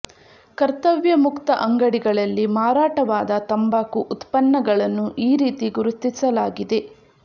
ಕರ್ತವ್ಯ ಮುಕ್ತ ಅಂಗಡಿಗಳಲ್ಲಿ ಮಾರಾಟವಾದ ತಂಬಾಕು ಉತ್ಪನ್ನಗಳನ್ನು ಈ ರೀತಿ ಗುರುತಿಸಲಾಗಿದೆ